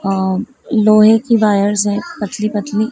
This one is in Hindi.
आ लोहे की वायर्स हैं पतली पतली --